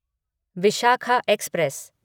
Vishakha express